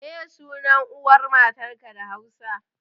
Meye sunan uwar matanka da Hausa?